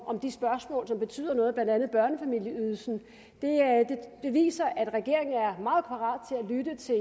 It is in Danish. om de spørgsmål som betyder noget blandt andet børnefamilieydelsen viser at regeringen er meget parat til at lytte til